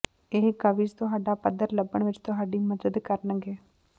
ਇਹ ਕਵਿਜ਼ ਤੁਹਾਡਾ ਪੱਧਰ ਲੱਭਣ ਵਿੱਚ ਤੁਹਾਡੀ ਮਦਦ ਕਰਨਗੇ